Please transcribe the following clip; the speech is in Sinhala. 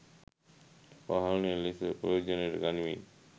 වහලය ලෙස ප්‍රයෝජනයට ගනිමින්.